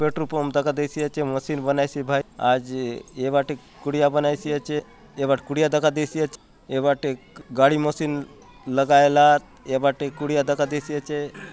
Petrol pump दका देसी आचे मशीन बनाइस हे भाई ए बाटे कुड़िया बनाई से आचे कुड़िया दका देसी आचे ए बाटे गाड़ी मशीन लगाए लात ए बाटे कुड़िया दका देसी आचे।